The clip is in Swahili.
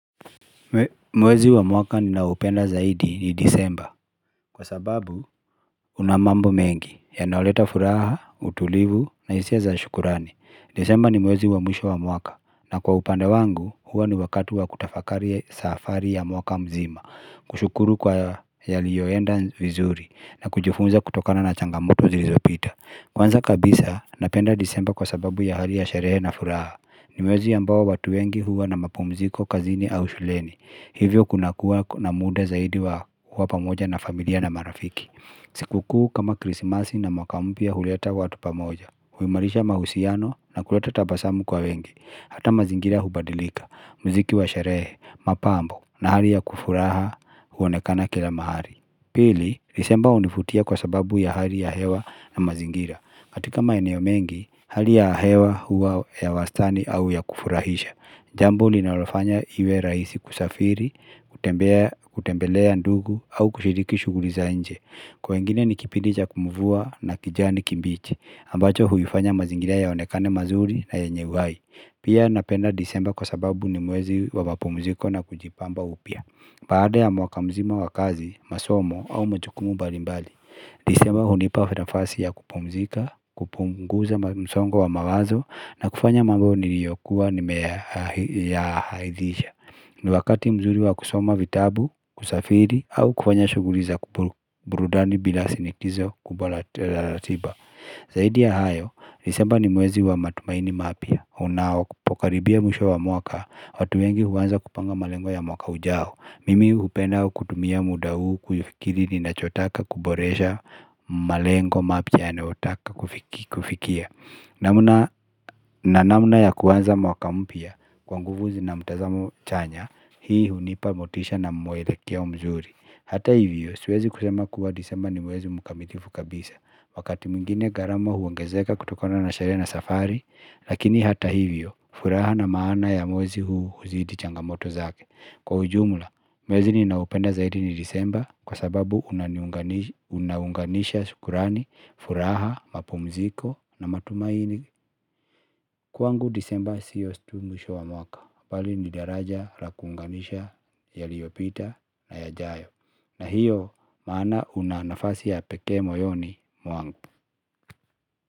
Mwezi wa mwaka ninaoupenda zaidi ni desemba kwa sababu una mambo mengi ya nayoleta furaha, utulivu na hisia za shukurani Desemba ni mwezi wa mwisho mwaka na kwa upande wangu huwa ni wakati wa kutafakari safari ya mwaka mzima kushukuru kwa yaliyoenda vizuri na kujifunza kutokana na changamoto zilizopita Kwanza kabisa napenda disemba kwa sababu ya hali ya sherehe na furaha ni mwezi ambao watu wengi huwa na mapumziko kazini au shuleni Hivyo kuna kuwa na muda zaidi wa kuwa pamoja na familia na marafiki sikukuu kama krisimasi na mwaka mpya huleta watu pamoja huimarisha mahusiano na kuleta tabasamu kwa wengi Hata mazingira hubadilika, mziki wa sherehe, mapambo na hali ya kufurahia huonekana kila mahali Pili, Desemba hunivutia kwa sababu ya hali ya hewa na mazingira katika maeneo mengi, hali ya hewa huwa ya wastani au ya kufurahisha Jambo linalofanya iwe rahisi kusafiri, kutembea kutembelea ndugu au kushiriki shughuli za nje Kwa wengine ni kipindi cha mvua na kijani kimbichi ambacho huifanya mazingira yaonekane mazuri na yenye uhai Pia napenda desemba kwa sababu ni mwezi wa mapumziko na kujipamba upia baada ya mwaka mzima wa kazi, masomo au majukumu mbalimbali Desemba hunipa nafasi ya kupumzika, kupunguza msongo wa mawazo na kufanya mambo niliyokuwa nimeyaahirisha ni wakati mzuri wa kusoma vitabu, kusafiri au kufanya shughuli za burudani bila sinikizo kubwa la ratiba Zaidi ya hayo, nisemba ni mwezi wa matumaini mapya Unapokaribia mwisho wa mwaka watu wengi huanza kupanga malengo ya mwaka ujao Mimi hupenda kutumia muda huu kufikiri ninachotaka kuboresha malengo mapya yanaotaka kufikia na namna ya kuanza mwaka mpya kwa nguvu na mtazamo chanya Hii hunipa motisha na mwelekeo mzuri Hata hivyo, siwezi kusema kuwa disemba ni mwezi mkamilifu kabisa Wakati mwingine gharama huongezeka kutokona na sherehe na safari Lakini hata hivyo, furaha na maana ya mwezi huu huzidi changamoto zake Kwa ujumla, mwezi ni naupenda zaidi ni desemba kwa sababu unaunganisha sukurani, furaha, mapumziko na matumaini. Kwangu desemba sio tu mwisho wa mwaka. Mbali ni daraja la kuunganisha yaliopita na yajayo. Na hiyo maana una nafasi ya pekee moyoni mwangu.